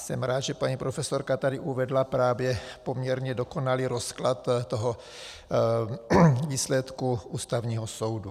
Jsem rád, že paní profesorka tady uvedla právě poměrně dokonalý rozklad toho výsledku Ústavního soudu.